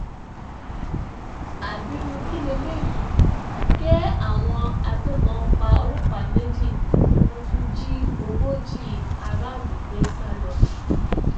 ábírú kí lélẹyìí ké àwọn agbébọn pa ọlọpàá méjì wọn tún jí ogójì aráàlú gbé sá lọ